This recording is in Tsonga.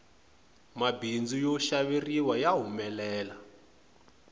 mabindzu yo xaveriwa ya humelela